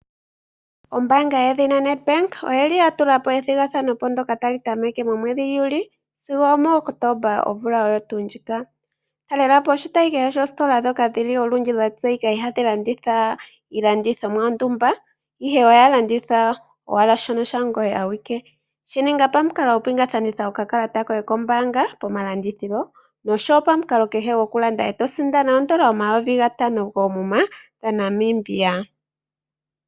Ombaanga yoNedbank oya tulapo ethigathano ndyoka tali tameke momwedhi Juli sigo omuOctomba omvula ndjika. Talelapo oshitayi kehe shositola kehe ndjoka ya tseyika nawa hayi landitha iilandithomwa yontumba ihe oyalanditha ongoye awike. Shi ninga pamukalo nepingakanitho lyokakalata koye kombaanga noshowo pamukalo kehe gwokulanda eto sindana oondola omathele gatano koomuma dhaNamibia.